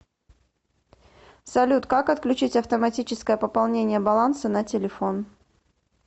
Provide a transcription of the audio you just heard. салют как отключить автоматическое пополнение баланса на телефон